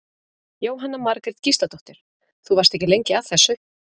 Jóhanna Margrét Gísladóttir: Þú varst ekki lengi að þessu?